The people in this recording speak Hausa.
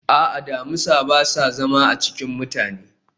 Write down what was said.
a'a, damisa ba sa zama a cikin mutane